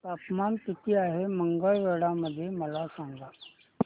तापमान किती आहे मंगळवेढा मध्ये मला सांगा